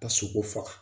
Ta sogo faga